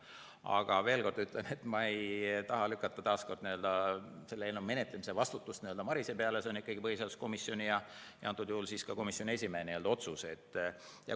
Aga veel kord ütlen, et ma ei taha lükata, taas kord, selle eelnõu menetlemise vastutust Marise peale, see on põhiseaduskomisjoni ja antud juhul ka komisjoni esimehe otsus.